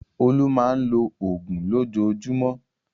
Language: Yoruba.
Olú máa ń lo òògùn lójoojúmọ́.